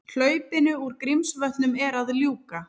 Hlaupinu úr Grímsvötnum er að ljúka